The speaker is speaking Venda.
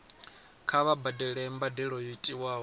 kha vha badele mbadelo yo tiwaho